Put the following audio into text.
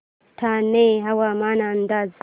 ठाणे हवामान अंदाज